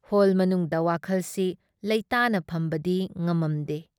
Hall ꯃꯅꯨꯡꯗ ꯋꯥꯈꯜ ꯁꯤ ꯂꯩꯇꯥꯅ ꯐꯝꯕꯗꯤ ꯉꯝꯃꯝꯗꯦ ꯫